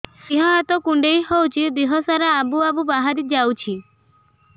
ଦିହ ହାତ କୁଣ୍ଡେଇ ହଉଛି ଦିହ ସାରା ଆବୁ ଆବୁ ବାହାରି ଯାଉଛି